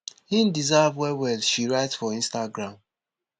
im deserve wellwell she write for instagram